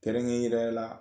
Tɛrɛŋe yɛrɛ la